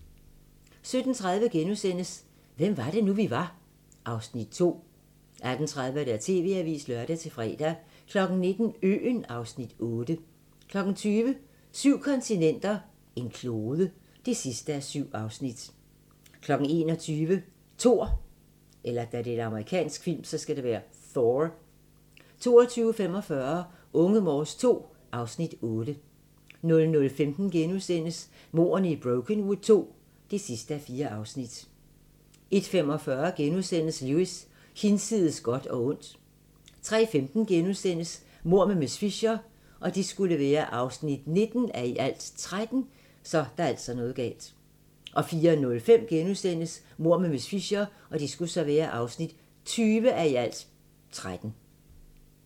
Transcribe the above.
17:30: Hvem var det nu, vi var (Afs. 2)* 18:30: TV-avisen (lør-fre) 19:00: Øen (Afs. 8) 20:00: Syv kontinenter, en klode (7:7) 21:00: Thor 22:45: Unge Morse II (Afs. 8) 00:15: Mordene i Brokenwood II (4:4)* 01:45: Lewis: Hinsides godt og ondt * 03:15: Mord med miss Fisher (19:13)* 04:05: Mord med miss Fisher (20:13)*